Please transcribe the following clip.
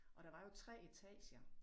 Og der var jo 3 etager